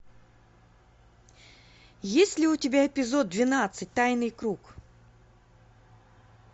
есть ли у тебя эпизод двенадцать тайный круг